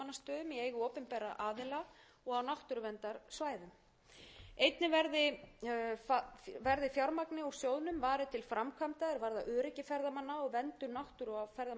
tuttugu og eitt fjörutíu og þrjú virðulegi forseti í frumvarpinu er lagt til að fjármagni úr sjóðnum verði varið til uppbyggingar viðhalds og verndunar mannvirkja og náttúru á